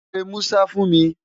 Pe Musa fún mi!